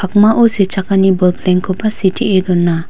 pakmao sechakani boplengkoba sitee dona.